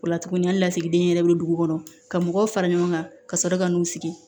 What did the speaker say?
O la tugunni hali lasigiden yɛrɛ bɛ dugu kɔnɔ ka mɔgɔw fara ɲɔgɔn kan ka sɔrɔ ka n'u sigi